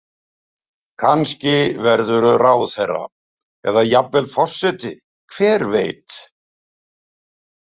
Kannski verðurðu ráðherra eða jafnvel forseti, hver veit?